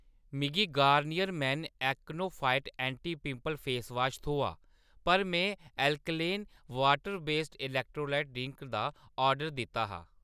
मिगी Garnier men acno fight anti pimple face wash थ्होआ पर मैं अल्कलेन पानी अधारत इलेक्ट्रोलाइट ड्रिंक दा आर्डर दित्ता हा।